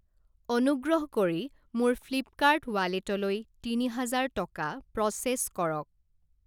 অনুগ্ৰহ কৰি মোৰ ফ্লিপকাৰ্ট ৱালেটলৈ তিনি হাজাৰ টকা প্ৰ'চেছ কৰক।